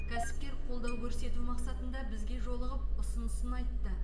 кәсіпкер қолдау көрсету мақсатында бізге жолығып ұсынысын айтты